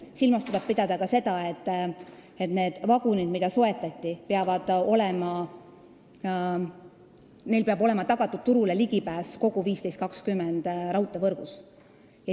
Silmas tuleb pidada ka seda, et nendel vagunitel, mis soetati, peab olema tagatud ligipääs turule kogu 1520-millimeetrises raudteevõrgus.